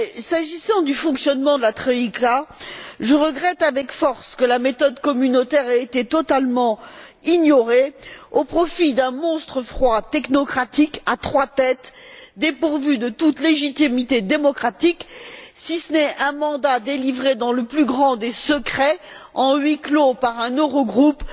S'agissant du fonctionnement de la troïka, je regrette avec force que la méthode communautaire ait été totalement ignorée au profit d'un monstre froid technocratique à trois têtes dépourvu de toute légitimité démocratique, si ce n'est un mandat délivré dans le plus grand des secrets, à huis clos, par un Eurogroupe